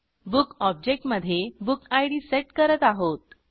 Bookऑब्जेक्टमधे book ID set करत आहोत